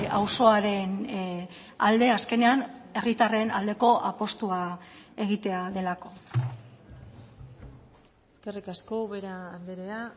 auzoaren alde azkenean herritarren aldeko apustua egitea delako eskerrik asko ubera andrea